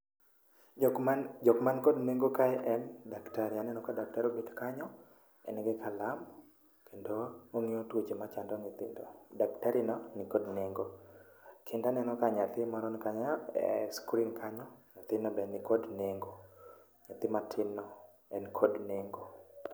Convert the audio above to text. jok man kod neng'o kae en dakatari aneno ka daktari obet kanyo en gi kalam kendo orango tuo machando nyathino, dakatari no ni kod neng'o kendo aneno ka nyathi moro ni kanyo e screen kanyo ,nyathino be ni kod nengo ,nyathi matin no nikod nengo.